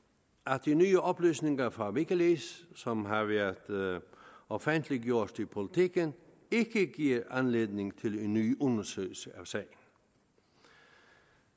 at de nye oplysninger fra wikileaks som har været offentliggjort i politiken ikke giver anledning til en ny undersøgelse af sagen